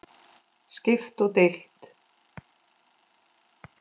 Skipt og deilt